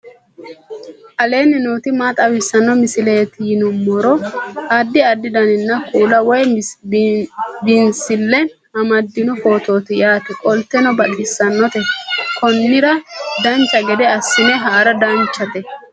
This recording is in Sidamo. aleenni nooti maa xawisanno misileeti yinummoro addi addi dananna kuula woy biinsille amaddino footooti yaate qoltenno baxissannote konnira dancha gede assine haara danchate